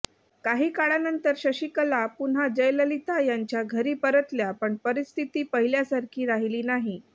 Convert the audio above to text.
काही काळानंतर शशिकला पुन्हा जयललिता यांच्या घरी परतल्या पण परिस्थिती पहिल्यासारखी राहिली नाही